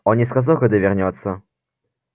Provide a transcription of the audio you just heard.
он не сказал когда вернётся